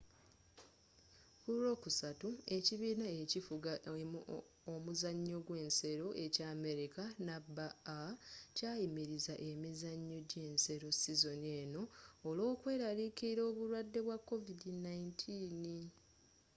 ku lwokusatu ekibiina ekifuga omuzanyo gw'ensero ekya amerika nba kyayimiriza emizanyo j'ensero sizoni eno olw'okweraliikirila obulwade bwa covid-19